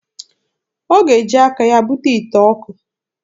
Ọ ga-eji aka ya bute ite ọkụ.